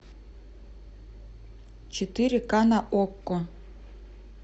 четыре ка на окко